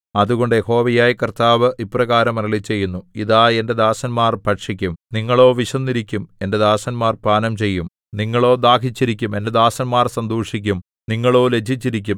അതുകൊണ്ട് യഹോവയായ കർത്താവ് ഇപ്രകാരം അരുളിച്ചെയ്യുന്നു ഇതാ എന്റെ ദാസന്മാർ ഭക്ഷിക്കും നിങ്ങളോ വിശന്നിരിക്കും എന്റെ ദാസന്മാർ പാനംചെയ്യും നിങ്ങളോ ദാഹിച്ചിരിക്കും എന്റെ ദാസന്മാർ സന്തോഷിക്കും നിങ്ങളോ ലജ്ജിച്ചിരിക്കും